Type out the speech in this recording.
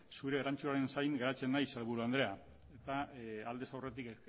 zure erantzunaren zain geratzen naiz sailburu andrea eta aldez aurretik